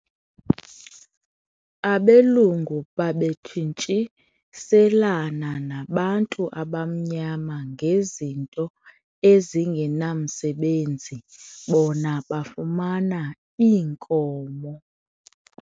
Abelungu babetshintshiselana nabantu abamnyama ngezinto ezingenamsebenzi bona bafumana iinkomo.